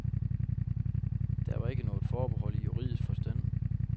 Der var ikke noget forbehold i juridsk forstand.